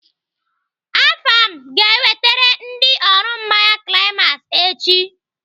Afam ga-ewetere ndị ọrụ mmanya climax echi.